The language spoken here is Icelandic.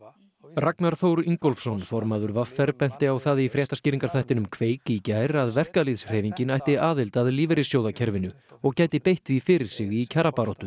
Ragnar Þór Ingólfsson formaður v r benti á það í fréttaskýringaþættinum kveik í gær að verkalýðshreyfingin ætti aðild að lífeyrissjóðakerfinu og gæti beitt því fyrir sig í kjarabaráttu